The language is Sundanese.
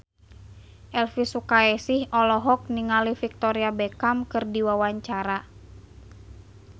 Elvy Sukaesih olohok ningali Victoria Beckham keur diwawancara